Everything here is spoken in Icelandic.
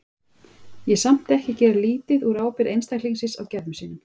Ég er samt ekki að gera lítið úr ábyrgð einstaklingsins á gerðum sínum.